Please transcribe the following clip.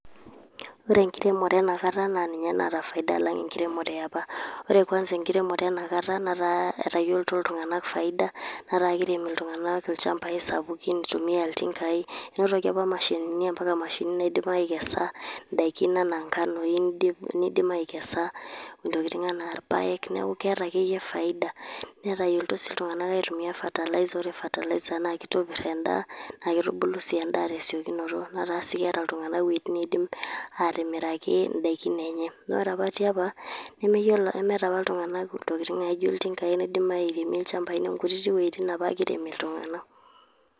Ore enkiremore ena kata naa ninye naata faida alang enkiremore e apa. Ore kwanza enkiremore ena kata netaa etayiolito iltung`anak faida netaa kirem iltung`anak ilchambai sapukin, itumia iltingai enotoki apa mashinini mpaka mashinini naidim aikesa ndaikin enaa nkanoi. Nidim aikesa ntokitin enaa irpaek niaku keeta akeyie faida. netayiolito sii iltung`anak aitumia fertilizer. Ore fertilizer naa kitopir endaa naa kitubulu sii endaa te siokinoto netaa sii keeta iltung`anak iwuejitin niidim aatimiraiki ndaikin enye. Naa ore apa ti apa nemeyiolo nemeeta apa iltung`anak intokitin naijo iltinkai loidim airemie ilchambai niaku nkutitik wuejitin apake iirem iltung`anak.